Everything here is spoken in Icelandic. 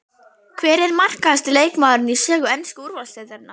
Hver er markahæsti leikmaðurinn í sögu ensku úrvalsdeildarinnar?